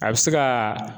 A bɛ se ka